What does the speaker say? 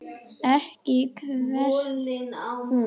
Ekki kvartar hún